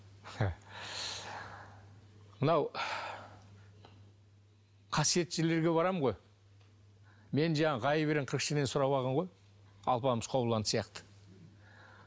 мынау қасиетті жерлерге барамын ғой мен жаңағы ғайып ерен қырық шілтен сұрап алған ғой алпамыс қобыланды сияқты